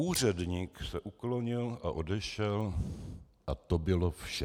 Úředník se uklonil a odešel a to bylo vše.